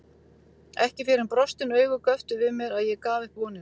Ekki fyrr en brostin augu göptu við mér að ég gaf upp vonina.